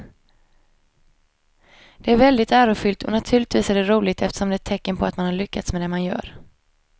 Det är väldigt ärofyllt och naturligtvis är det roligt eftersom det är ett tecken på att man har lyckats med det man gör.